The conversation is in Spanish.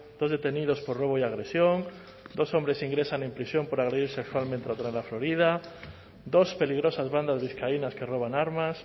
dos detenidos por robo y agresión dos hombres ingresan en prisión por agredir sexualmente a otro en la florida dos peligrosas bandas vizcaínas que roban armas